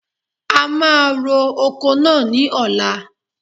A máa ro oko náà ni ọ̀la.